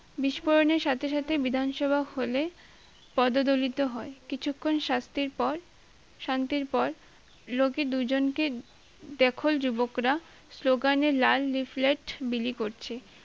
বিস্ফোরণের সাথে সাথে বিধান সভা হলে পদদলিত হয় কিছুক্ষন শাস্তির পর শান্তির পর লোকে দুইজনকে দেখল যুবকরা স্লোগানের লাল leaf-let বিলি করছে